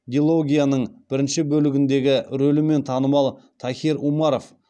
дилогияның бірінші бөлігіндегі рөлімен танымал тахир умаров